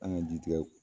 An ka ji tigɛ